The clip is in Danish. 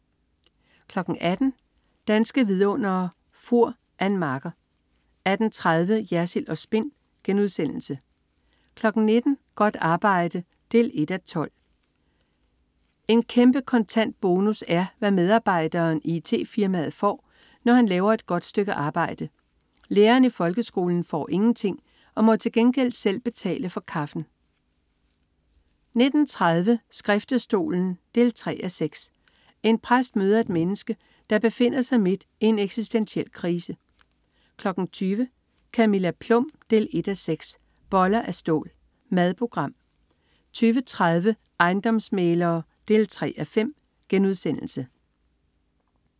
18.00 Danske Vidundere: Fur. Ann Marker 18.30 Jersild & Spin* 19.00 Godt arbejde 1:12. En kæmpe kontant bonus er, hvad medarbejderen i it-firmaet får, når han lavet et godt stykke arbejde. Læreren i folkeskolen får ingenting og må til gengæld selv betale for kaffen 19.30 Skriftestolen 3:6. En præst møder et menneske, der befinder sig midt i en eksistentiel krise 20.00 Camilla Plum 1:6. Boller af stål. Madprogram 20.30 Ejendomsmæglere 3:5*